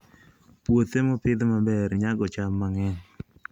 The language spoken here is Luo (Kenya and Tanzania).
Puothe mopidh maber nyago cham mang'eny.